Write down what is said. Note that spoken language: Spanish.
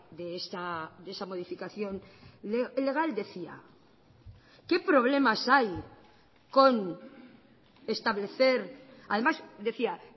de esa modificación legal decía qué problemas hay con establecer además decía